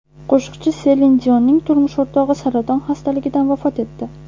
Qo‘shiqchi Selin Dionning turmush o‘rtog‘i saraton xastaligidan vafot etdi.